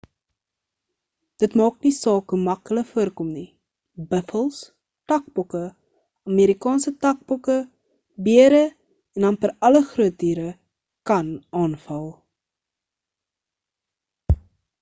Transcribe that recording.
dit maak nie saak hoe mak hulle voorkom nie buffels takbokke amerikaanse takbokke bere en amper alle groot diere kan aanval